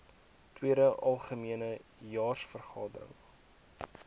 tweede algemene jaarvergadering